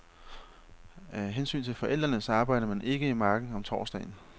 Af hensyn til forfædrene, så arbejder man ikke i marken om torsdagen.